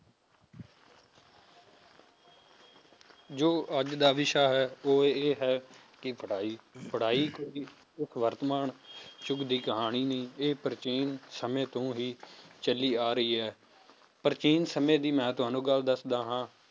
ਜੋ ਅੱਜ ਦਾ ਵਿਸ਼ਾ ਹੈ ਉਹ ਇਹ ਹੈ ਕਿ ਪੜ੍ਹਾਈ ਪੜ੍ਹਾਈ ਵਰਤਮਾਨ ਯੁੱਗ ਦੀ ਕਹਾਣੀ ਨੀ, ਇਹ ਪ੍ਰਾਚੀਨ ਸਮੇਂ ਤੋਂ ਹੀ ਚੱਲੀ ਆ ਰਹੀ ਹੈ, ਪ੍ਰਾਚੀਨ ਸਮੇਂ ਦੀ ਮੈਂ ਤੁਹਾਨੂੰ ਗੱਲ ਦੱਸਦਾ ਹਾਂ